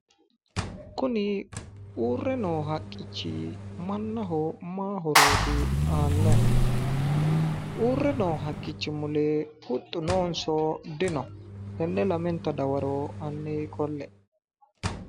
Kuni uurre noo haqqichi mannoho maa horooti aannohu? uurre noo haqqichi mule huxxu noonso dino? Tenne lamenta dawaro hanni qolle"e.